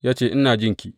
Ya ce, Ina jinki.